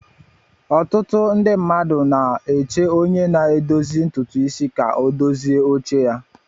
Ọtụtụ ndị mmadụ nọ na-eche onye na-edozi ntutu isi ka ọ dozie oche ya.